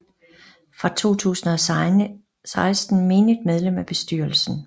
Fra 2016 menigt medlem af bestyrelsen